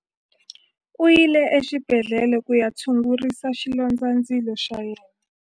U yile exibedhlele ku ya tshungurisa xilondzandzilo xa yena.